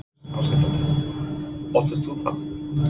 Þóra Kristín Ásgeirsdóttir: Óttastu það?